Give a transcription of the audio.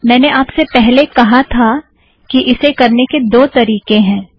मैंने आपसे पहले कहा था कि इसे करने के दो तारीकें हैं